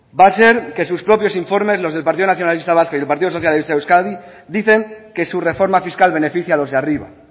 va a ser que sus propios informes los del partido nacionalista vasco y el partido socialista de euskadi dicen que su reforma fiscal beneficia a los de arriba